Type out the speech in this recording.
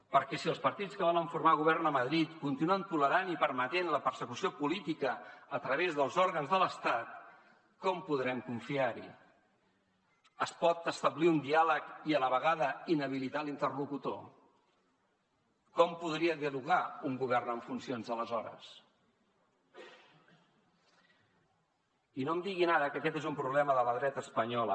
perquè si els partits que volen formar govern a madrid continuen tolerant i permetent la persecució política a través dels òrgans de l’estat com podrem confiar hi es pot establir un diàleg i a la vegada inhabilitar l’interlocutor com podria dialogar un govern en funcions aleshores i no em diguin ara que aquest és un problema de la dreta espanyola